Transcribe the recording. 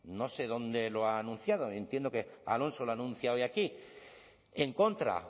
no sé dónde lo ha anunciado entiendo que alonso lo anuncia hoy aquí en contra